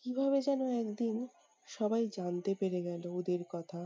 কীভাবে যেন একদিন সবাই জানতে পেরে গেলো ওদের কথা।